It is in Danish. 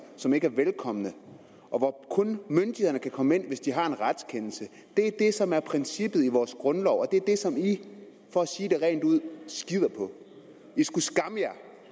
som ikke er velkomne og hvor myndighederne kun kan komme ind hvis de har en retskendelse det er det som er princippet i vores grundlov og det er det som i for at sige det rent ud skider på i skulle skamme